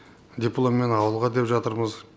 дипломмен ауылға деп жатырмыз